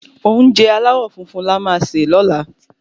Oúnjẹ aláwò funfun la o ṣe lóla